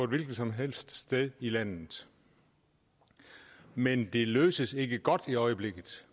hvilket som helst sted i landet men de løses ikke godt i øjeblikket